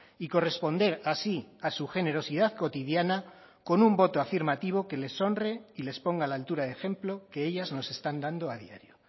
y corresponder así a su generosidad cotidiana con un voto afirmativo que les honre y les ponga a la altura de ejemplo que ellas nos están dando a diario